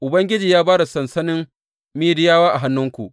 Ubangiji ya ba da sansanin Midiyawa a hannuwanku.